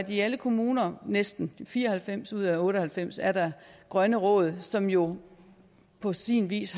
i alle kommuner næsten i fire og halvfems ud af otte og halvfems er der grønne råd som jo på sin vis